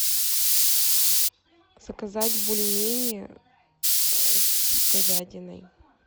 заказать бульмени с говядиной